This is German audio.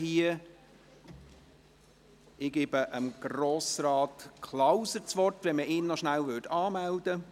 Ich erteile Grossrat Klauser das Wort, wenn man ihn noch rasch anmeldet.